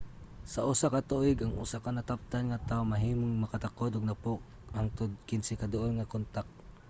sa usa ka tuig ang usa ka nataptan nga tawo mahimong makatakod og 10 hangtod 15 ka duol nga kontak